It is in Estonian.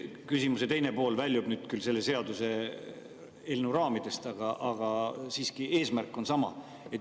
Küsimuse teine pool väljub küll selle seaduseelnõu raamidest, aga eesmärk on siiski sama.